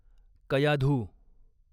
Kayadhu